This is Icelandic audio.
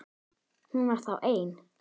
Hún var þá ein!